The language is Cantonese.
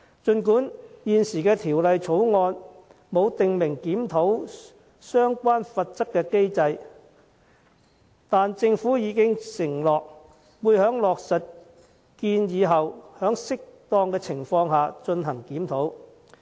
儘管現時《條例草案》沒有訂明檢討相關罰則的機制，但政府已承諾在落實相關建議後，在適當的情況下進行檢討。